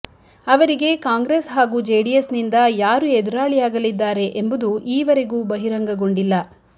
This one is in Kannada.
ಅವರಿಗೆ ಕಾಂಗ್ರೆಸ್ ಹಾಗೂ ಜೆಡಿಎಸ್ನಿಂದ ಯಾರು ಎದುರಾಳಿಯಾಗಲಿದ್ದಾರೆ ಎಂಬುದು ಈವರೆಗೂ ಬಹಿರಂಗಗೊಂಡಿಲ್ಲ